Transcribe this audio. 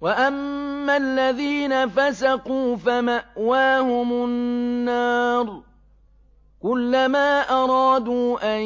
وَأَمَّا الَّذِينَ فَسَقُوا فَمَأْوَاهُمُ النَّارُ ۖ كُلَّمَا أَرَادُوا أَن